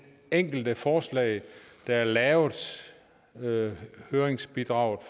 enkelte forslag der er lavet via høringsbidraget